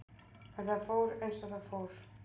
En það fór eins og það fór.